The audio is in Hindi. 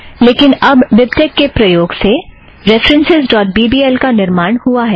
लेकिन अब बिबटेक के प्रयोग से references dot B B L का निर्माण हुआ है